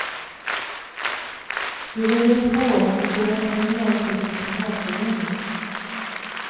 De ringer på och ber om pengar till sin kamratförening.